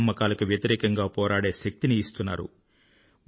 మూఢనమ్మకాలకు వ్యతిరేకంగా పోరాడే శక్తిని ఇస్తున్నారు